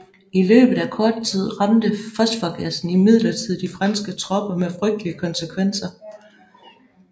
I løbet af kort tid ramte fosforgassen imidlertid de franske tropper med frygtelige konsekvenser